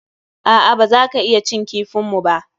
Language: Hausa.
A'a, baza ka iya cin kifin mu ba.